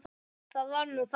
Það var nú þá.